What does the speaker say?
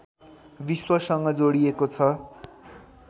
विश्वसँग जोडिएको छ